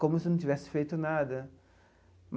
Como se não tivesse feito nada.